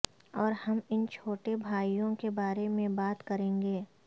اور ہم ان چھوٹے بھائیوں کے بارے میں بات کریں گے